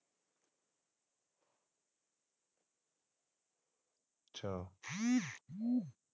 ਅੱਛਾ